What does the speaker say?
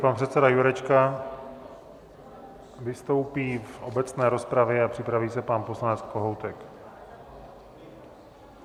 Pan předseda Jurečka vystoupí v obecné rozpravě a připraví se pan poslanec Kohoutek.